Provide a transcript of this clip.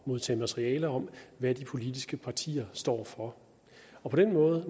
modtage materiale om hvad de politiske partier står for og på den måde